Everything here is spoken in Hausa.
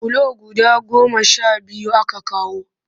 Bulo guda goma sha biyu aka kawo